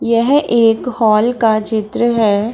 यह एक हॉल का चित्र है।